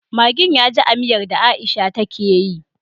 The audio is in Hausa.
Maggin yaji a miyar da aisha take yi